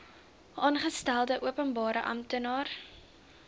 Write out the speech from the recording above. aangestelde openbare amptenaar